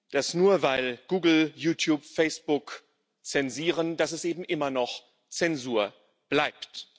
dass, nur weil Google, YouTube und Facebook zensieren, es eben immer noch Zensur bleibt.